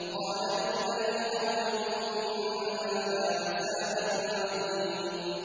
قَالَ لِلْمَلَإِ حَوْلَهُ إِنَّ هَٰذَا لَسَاحِرٌ عَلِيمٌ